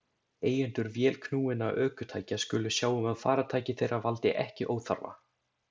Eigendur vélknúinna ökutækja skulu sjá um að farartæki þeirra valdi ekki óþarfa